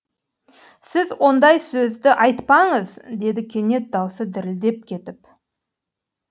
сіз ондай сөзді айтпаңыз деді кенет даусы дірілдеп кетіп